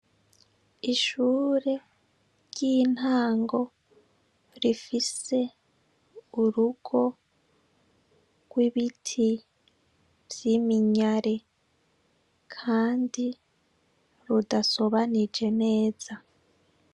Ishuri ryintango rifise urugo gw'ibiti vyiminyare kandi rudasobanije neza.